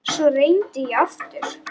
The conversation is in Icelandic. Svo reyndi ég aftur.